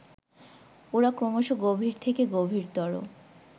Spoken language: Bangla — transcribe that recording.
ওরা ক্রমশ গভীর থেকে গভীরতর